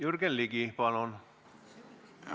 Jürgen Ligi, palun!